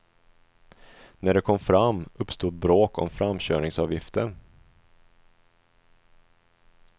När de kom fram uppstod bråk om framkörningsavgiften.